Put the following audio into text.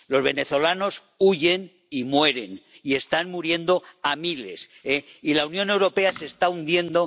Los venezolanos huyen y mueren y están muriendo a miles y la Unión Europea se está hundiendo.